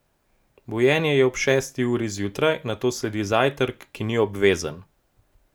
Bujenje je ob šesti uri zjutraj, nato sledi zajtrk, ki ni obvezen.